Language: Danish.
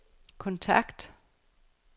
kontakt